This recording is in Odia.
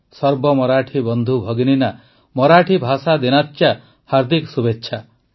ସର୍ବ ମରାଠୀ ବନ୍ଧୁ ଭଗିନୀନା ମରାଠୀ ଭାଷା ଦିନାଚ୍ୟା ହାର୍ଦ୍ଦିକ ଶୁଭେଚ୍ଛ